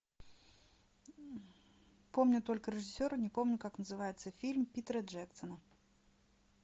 помню только режиссера не помню как называется фильм питера джексона